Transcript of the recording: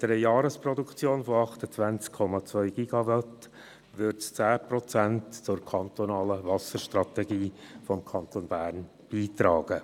Mit einer Jahresproduktion von 28,2 GWh würde es 10 Prozent zur kantonalen Wasserstrategie des Kantons Bern beitragen.